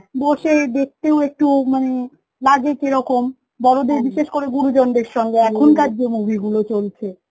বসে দেখতেও একটু মানে লাগে কেরকম বিশেষ করে গুরুজন দের সঙ্গে যে movie গুলো চলছে